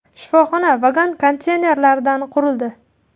Shifoxona vagon-konteynerlardan qurildi.